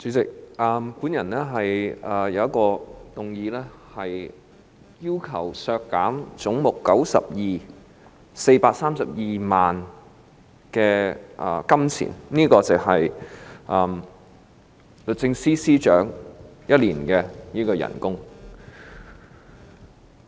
主席，我提出一項修正案，要求將總目92削減432萬元，相當於律政司司長1年的工資。